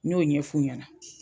N y'o ɲɛf'u ɲana.